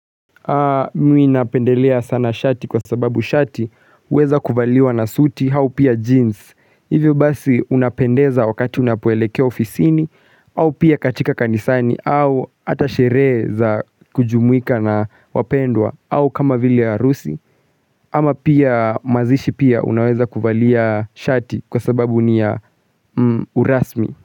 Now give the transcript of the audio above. Mimi napendelea sana shati kwa sababu shati huweza kuvaliwa na suti aupia jeans Hivyo basi unapendeza wakati unapoelekea ofisini au pia katika kanisani au hata sherehe za kujumuika na wapendwa au kama vile ha rusi ama pia mazishi pia unaweza kuvalia shati kwa sababu ni ya urasmi.